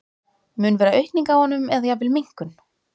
Mun vera aukning á honum eða jafnvel minnkun?